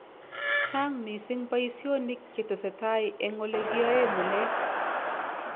Chaang misiing boisyoniik chetesetai eng olekiaei ng'ulek